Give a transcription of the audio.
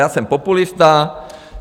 Já jsem populista.